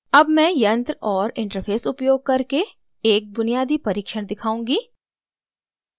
अब मैं यंत्र और interface उपयोग करके एक बुनियादी परीक्षण दिखाऊँगी